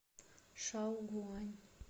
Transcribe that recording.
шаогуань